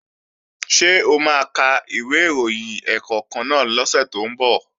Ṣé o máa ka ìwé ìròyìn ẹ̀ẹ̀kọ̀kan náà lọ́sẹ̀ tó ń bọ̀?